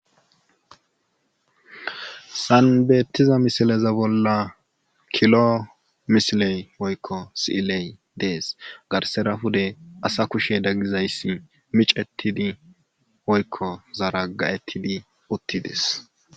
Hessan beettiza misileza bolla kilo misiley woykko si7iley dees garssara pude asa kusheda gizayssi micettidi woykko zaragga7ettidi uttides.